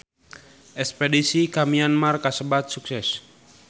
Espedisi ka Myanmar kasebat sukses